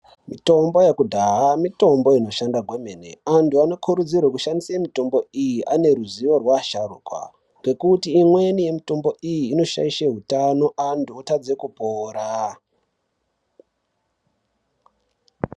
Mitombo yekudhaya mitombo inobaikurudzirwa kwemene antu anokurudzirwa kushandiswa mitombo iyi pane vasharuka ngekuti imweni mitombo iyi inoshaidha utano antu otadza kupora.